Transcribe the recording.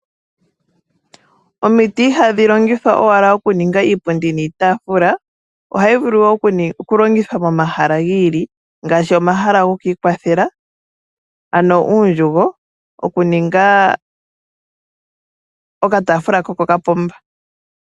Omiti ihadhi longithwa owala okuninga iipundi niitaafula, ohayi vulu wo okulongithwa momahala gi ili, ngaashi omahala gokwikwathela ano uundjugo, okuninga okataafula kopo kapomba.